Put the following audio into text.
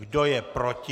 Kdo je proti?